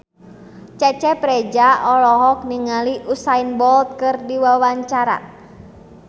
Cecep Reza olohok ningali Usain Bolt keur diwawancara